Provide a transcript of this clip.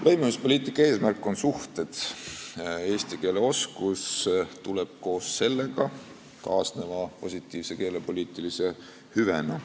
Lõimumispoliitika eesmärk on suhted, eesti keele oskus tuleb koos sellega, kaasneva positiivse keelepoliitilise hüvena.